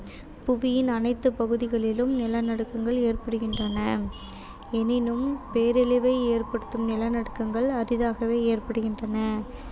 புவியின் அனைத்துப் பகுதிகளிலும் நிலநடுக்கங்கள் ஏற்படுகின்றன எனினும் பேரழிவை ஏற்படுத்தும் நிலநடுக்கங்கள் அரிதாகவே ஏற்படுகின்றன